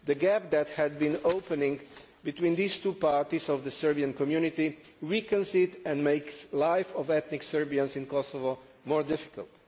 The gap that has been opening between these two parts of the Serbian community weakens it and makes the life of ethnic Serbians in Kosovo more difficult.